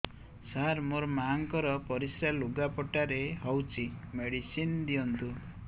ସାର ମୋର ମାଆଙ୍କର ପରିସ୍ରା ଲୁଗାପଟା ରେ ହଉଚି ମେଡିସିନ ଦିଅନ୍ତୁ